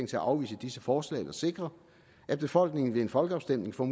til at afvise disse forslag eller sikre at befolkningen ved en folkeafstemning får